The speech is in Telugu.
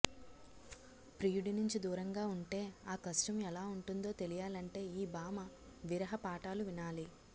ప్రియుడి నుంచి దూరంగా ఉంటే ఆ కష్టం ఎలా ఉంటుందో తెలియాలంటే ఈ భామ విరహ పాఠాలు వినాలి